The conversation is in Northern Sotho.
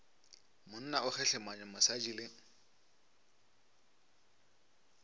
monna o kgehlemanya mosadi le